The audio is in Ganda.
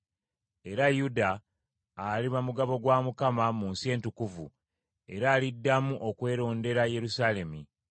Era Yuda aliba mugabo gwa Mukama mu nsi entukuvu, era aliddamu okwerondera Yerusaalemi.